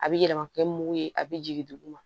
A bɛ yɛlɛma kɛ mugu ye a bɛ jigin duguma